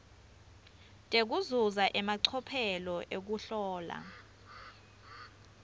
tekuzuza emacophelo ekuhlola